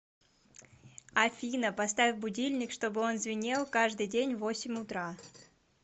афина поставь будильник чтобы он звенел каждый день в восемь утра